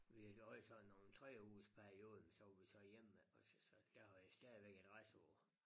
Vi derovre i sådan nogen 3 ugers perioder men så var vi så hjemme ikke altså så der har jeg stadigvæk adresse på